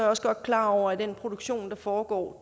også godt klar over at den produktion der foregår